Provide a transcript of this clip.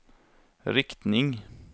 riktning